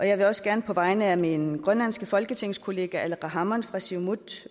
jeg vil også gerne på vegne af min grønlandske folketingskollega aleqa hammond fra siumut